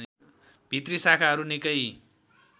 भित्री शाखाहरू निकै